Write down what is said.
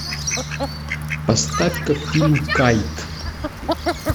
поставь ка фильм кайт